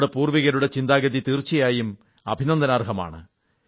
നമ്മുടെ പൂർവ്വികരുടെ ചിന്താഗതി തീർച്ചയായും അഭിനന്ദനാർഹമാണ്